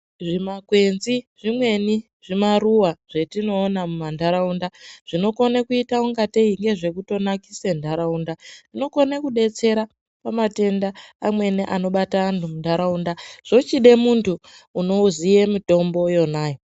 Zvimakwenzi, zvimweni zvimaruva zvetinoona munharaunda zvinokone kuita ungatei ngezvekutonakise nharaunda. Zvinokone kudetsera pamatenda amweni anobate antu munharaunda zvochide muntu unoziye mitombo yonayo.